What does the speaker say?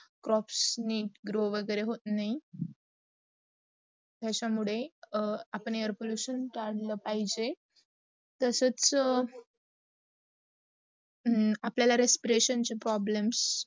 crops नेट grow वगैरे होत नाही. याचा मुडे आपण air pollution जाचला पाहिजे. अपल respiration problem